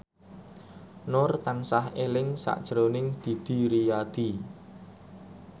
Nur tansah eling sakjroning Didi Riyadi